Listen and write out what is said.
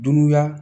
Dunuya